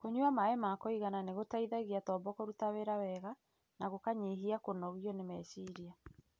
Kũnyua maĩ ma kũigana nĩ gũteithagia tombo kũruta wĩra wega, na gũkanyihia kũnogio nĩ meciria.